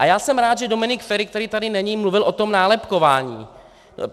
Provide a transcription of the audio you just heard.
A já jsem rád, že Dominik Feri, který tady není, mluvil o tom nálepkování.